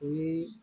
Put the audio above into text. O ye